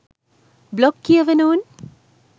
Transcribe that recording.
blog කියවන උන්